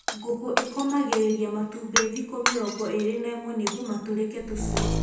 Ngũkũ ĩkomagĩrĩria matumbĩ thĩkũ mĩrongo ĩrĩ na ĩmwe nĩguo matũrĩke tũcũi.